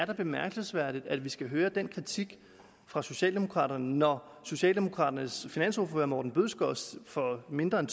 er bemærkelsesværdigt at vi skal høre den kritik fra socialdemokraterne når socialdemokraternes finansordfører herre morten bødskov for mindre end